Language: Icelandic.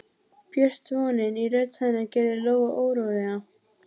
Björt vonin í rödd hennar gerði Lóu órólega.